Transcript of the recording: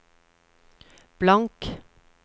blank